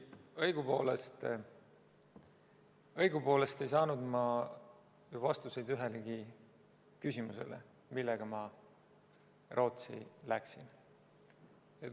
Õigupoolest ei saanud ma vastuseid ühelegi küsimusele, millega ma Rootsi läksin.